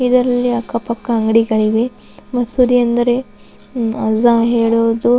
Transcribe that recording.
ಇದರಲ್ಲಿ ಅಕ್ಕ ಪಕ್ಕ ಅಂಗಡಿಗಳಿವೆ ಮಸೂದಿ ಎಂದರೆ ಅಜ್ಹ ಹೇಳುವುದು --